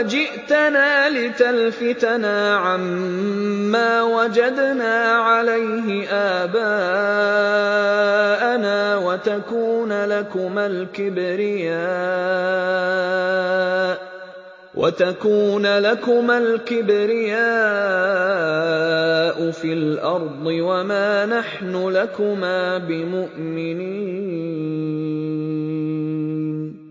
أَجِئْتَنَا لِتَلْفِتَنَا عَمَّا وَجَدْنَا عَلَيْهِ آبَاءَنَا وَتَكُونَ لَكُمَا الْكِبْرِيَاءُ فِي الْأَرْضِ وَمَا نَحْنُ لَكُمَا بِمُؤْمِنِينَ